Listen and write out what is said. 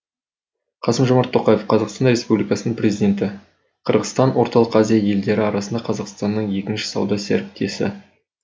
қасым жомарт тоқаев қазақстан республикасының президенті қырғызстан орталық азия елдері арасында қазақстанның екінші сауда серіктесі